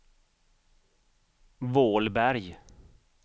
Vålberg